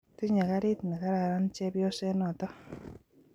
Tinye karit ne kararan chepyoset notok